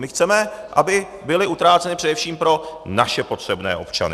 My chceme, aby byly utráceny především pro naše potřebné občany.